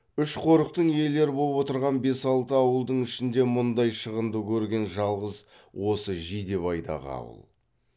үш қорықтың иелері боп отырған бес алты ауылдың ішінде мұндай шығынды көрген жалғыз осы жидебайдағы ауыл